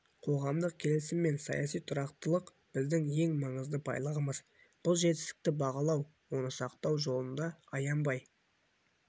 қоғамдық келісім мен саяси тұрақтылық біздің ең маңызды байлығымыз бұл жетістікті бағалау оны сақтау жолында аянбай